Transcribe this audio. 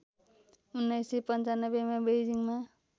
१९९५ मा बेइजिङमा